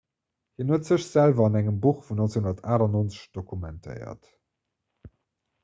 hien huet sech selwer an engem buch vun 1998 dokumentéiert